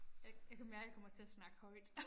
Jeg jeg kan mærke jeg kommer til at snakke højt